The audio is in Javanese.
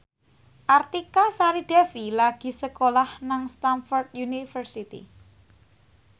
Artika Sari Devi lagi sekolah nang Stamford University